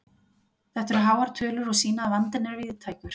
Þetta eru háar tölur og sýna að vandinn er víðtækur.